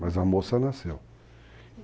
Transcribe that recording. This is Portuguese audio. Mas a moça nasceu.